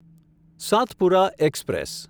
Satpura express